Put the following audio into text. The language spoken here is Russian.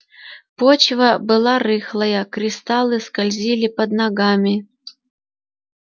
почва была рыхлая кристаллы скользили под ногами